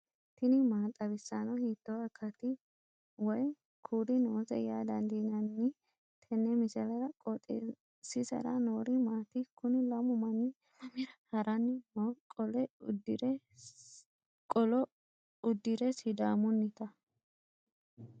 tini maa xawissanno ? hiitto akati woy kuuli noose yaa dandiinanni tenne misilera? qooxeessisera noori maati? kuni lamu manni maamira haranni nooho qolo uddire sidaamunnita